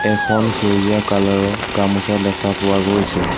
এখন সেউজীয়া কালাৰ ৰ গামোচা দেখা পোৱা গৈছে।